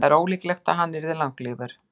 það er ólíklegt að hann yrði langlífur